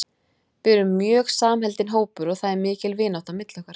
Við erum mjög samheldinn hópur og það er mikil vinátta milli okkar.